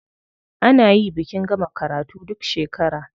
A nayi bikin gama karatu duk shekara.